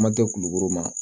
Ma kɛ kulukoro ma